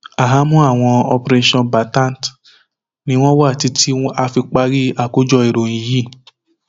ahámọ àwọn operationmbatant ni wọn wà títí tá a fi parí àkójọ ìròyìn yìí